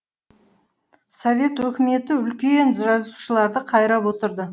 совет өкіметі үлкен жазушыларды қайрап отырды